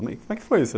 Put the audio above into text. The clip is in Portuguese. Como é que foi isso?